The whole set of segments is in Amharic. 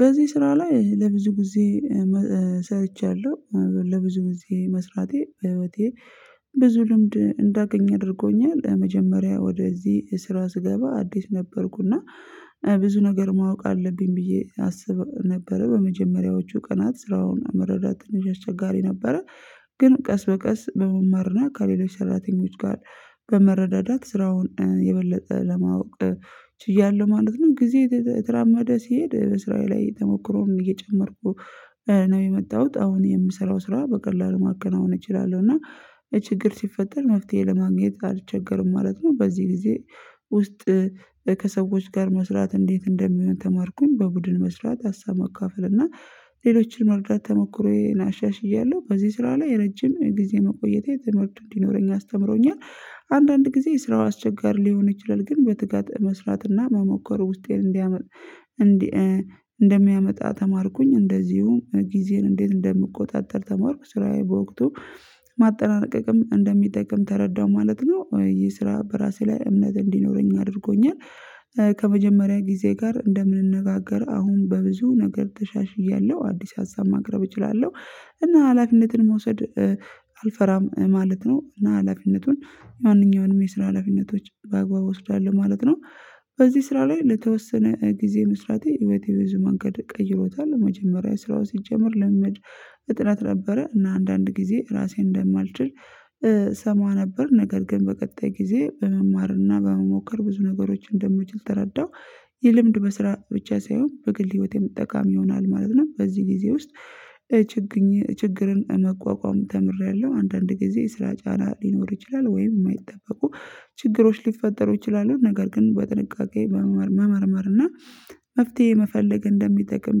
በዚህ ስራ ላይ ለብዙ ጊዜ ሰርቻለሁ ለብዙ ጊዜ መስራቴ በህይወቴ ብዙ ልምድ እንዳገኝ አድርጎኛል። መጀመሪያ ወደዚህ ስራ ስገባ አዲስ ነበርኩና ብዙ ነገር ማወቅ አለብኝ ብዬ አስብ ነበር በመጀመሪያዎቹ ቀናት ስራውን መረዳት ትንሽ አስቸጋሪ ነበረ። ግን ቀስ በቀስ በመማርና ከሌሎች ሰራተኞች ጋር በመረዳዳት ስራውን የበለጠ ለማወቅ ችያለሁ ማለት ነው። ጊዜ የተራመደ ሲሄድ ስራዬ ላይ ተሞክሮን እየጨመርኩ ነው የመጣሁት። አሁን የምሰራው ስራ በቀላሉ ማከናወን እችላለሁ እና ችግር ሲፈጠር መፍትሄ ለማግኘት አልቸገርም ማለት ነው። በዚህ ጊዜ ውስጥ ከሰዎች ጋር መስራት እንዴት እንደሚሆን ተማርኩኝ። በቡድን መስራት ሀሳብ መካፈል እና ሌሎችን መርዳት ተሞክሮ አሻሽያለሁ። በዚህ ስራ ላይ ረጅም ጊዜ መቆየቴ የተመለከቱ እንዲኖረኝ አስተምሮኛል። አንዳንድ ጊዜ የስራው አስቸጋሪ ሊሆን ይችላል ግን በትጋት መስራትና መሞከሩ ውስጤን እንዲያመጣ እንደሚያመጣ ተማርኩኝ። እንደዚሁም ጊዜን እንዴት እንደምቆጣጠር ተማርኩ ስራዬ በወቅቱ ማጠናቀቅም እንደሚጠቅም ተረዳሁ ማለት ነው። ይሄ ስራ በራሴ ላይ እምነት እንዲኖረኝ አድርጎኛል። ከመጀመሪያ ጊዜ ጋር እንደምንነጋገር አሁን በብዙ ነገር ተሻሽያለሁ አዲስ ሀሳብ ማቅረብ እችላለሁ እና ሀላፊነትን መውሰድ አልፈራም ማለት ነው። እና ሀላፊነቱን ማንኛውንም የስራ ለፊነቶች በአግባቡ እወስዳል ማለት ነው። በዚህ ስራ ላይ ለተወሰነ ጊዜ መስራቴ የቤተሰብ ብዙ መንገድ ቀይሮታል። መጀመሪያ ስራው ሲጀመር ልምምድ እጥረት ነበረ እና አንዳንድ ጊዜ ራሴን እንደማልችል እሰማ ነበር። ነገር ግን በቀጣይ ጊዜ በመማርና በመሞከር ብዙ ነገሮችን እንደምችል ተረዳው። የልምድ በስራ ብቻ ሳይሆን በግል ህይወቴ መጠቃሚ ይሆናል ማለት ነው። በዚህ ጊዜ ውስጥ ችግኝ ችግርን መቋቋም ተምሬያለሁ። አንዳንድ ጊዜ ስራ ጫና ሊኖር ይችላል ወይም የማይጠበቁ ችግሮች ሊፈጠሩ ይችላሉ ነገር ግን በጥንቃቄ በመመርመር እና መፍትሄ መፈለግ እንደሚጠቅም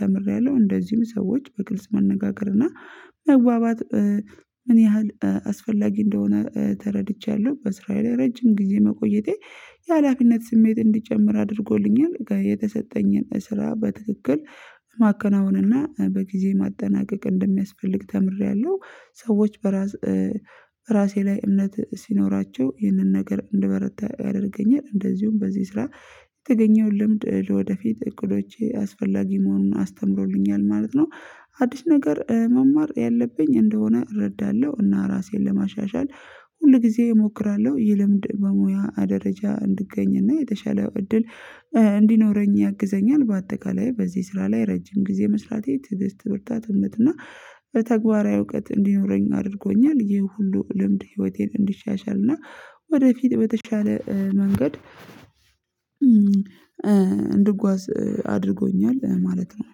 ተምሬያለሁ። እንደዚሁም ሰዎች በግልጽ መነጋገር እና መግባባት ምን ያህል አስፈላጊ እንደሆነ ተረድቻለሁ። ስራዬ ላይ ረጅም ጊዜ መቆየቴ የሀላፊነት ስሜት እንዲጨምር አድርጎልኛል የተሰጠኝን ስራ በትክክል ማከናወንና በጊዜ ማጠናቀቅ እንደሚያስፈልግ ተምሬያለሁ። ሰዎች በራስ ራሴ ላይ እምነት ሲኖራቸው ይህንን ነገር እንድበረታ ያደርገኛል። እንደዚሁም በዚህ ስራ የተገኘውን ልምድ ወደፊት እቅዶቼ አስፈላጊ መሆኑን አስተምሮልኛል ማለት ነው። አዲስ ነገር መማር ያለብኝ እንደሆነ እረዳለሁ እና ራሴን ለማሻሻል ሁል ጊዜ እሞክራለሁ። ይህ ልምድ በሙያ ደረጃ እንድገኝና የተሻለ እድል እንዲኖረኝ ያግዘኛል። በአጠቃላይ በዚህ ስራ ላይ ረጅም ጊዜ መስራቴ ትዕዝ ትምህርታትን የምትና በተግባራዊ እውቀት እንዲኖረኝ አድርጎኛል። ይህ ሁሉ ልምድ ህይወቴን እንዲሻሻል እና ወደፊት በተሻለ መንገድ እንድጓዝ አድርጎኛል ማለት ነው።